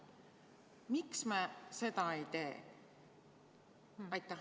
Miks me seda ei tee?